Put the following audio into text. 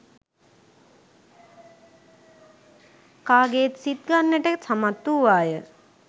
කාගෙත් සිත් ගන්නට සමත් වූවාය.